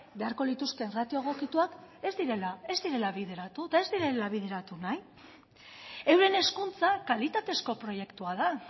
beharko lituzkeen ratio egokituak ez direla bideratu eta ez direla bideratu nahi euren hezkuntza kalitatezko proiektua da